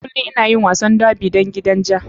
Kullum ina yin wasan derby don gidan ja.